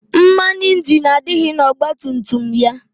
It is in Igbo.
Mmanụ ịnjini adịghị n' ọgbatumtum ya.